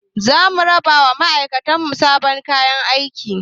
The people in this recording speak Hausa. Za mu raba wa ma'aikatan mu sabon kayan aiki